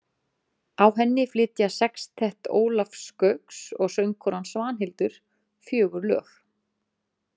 Á henni flytja Sextett Ólafs Gauks og söngkonan Svanhildur fjögur lög.